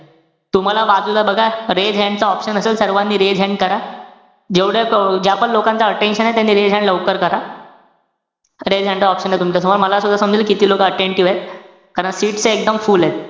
तुम्हाला बाजूला बघा raise hand चा option असेल. सर्वानी raise hannd करा. जेवढं ज्यापण लोकांचं attention आहे त्यांनी raise hand लवकर करा. raise hand चा option ए तुमच्यासमोर. मला असं समजेल किती लोकं attentive एत. कारण seats तर एकदम full ए.